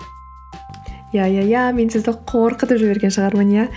иә иә иә мен сізді қорқытып жіберген шығармын иә